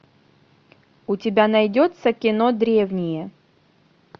у тебя найдется кино древние